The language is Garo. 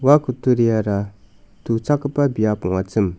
ua kutturiara tuchakgipa biap ong·achim.